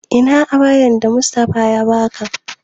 Ina ayabar da Mustapha ya baka?